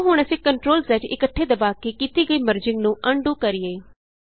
ਆਉ ਹੁਣ ਅਸੀਂ CTRLZ ਇਕੱਠੇ ਦਬਾ ਕੇ ਕੀਤੀ ਗਈ ਮਰਜਿੰਗ ਨੂੰ ਅਨਡੂ ਕਰੀਏ